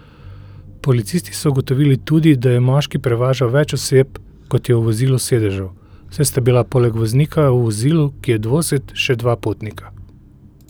Policisti so ugotovili tudi, da je moški prevažal več oseb, kot je v vozilu sedežev, saj sta bila poleg voznika v vozilu, ki je dvosed, še dva potnika.